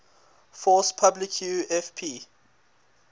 force publique fp